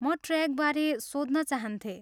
म ट्रेकबारे सोध्न चाहन्थेँ।